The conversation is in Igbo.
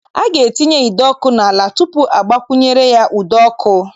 A ga-etinye ide ọkụ n'ala tupu a gbakwunyere ya ụdọ ọkụ.